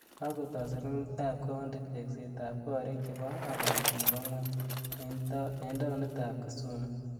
kokotoi selkalit ab kaunti tekset ab korik chebo aliet nebo ng'ony eng taunit ab kisumu.